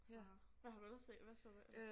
Ja hvad har du ellers set hvad så du ellers